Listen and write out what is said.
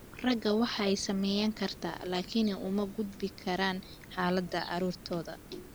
Ragga waa ay saameyn kartaa, laakiin uma gudbin karaan xaaladda carruurtooda.